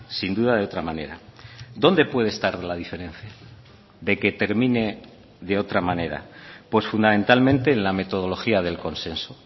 sin duda de otra manera dónde puede estar la diferencia de que termine de otra manera pues fundamentalmente en la metodología del consenso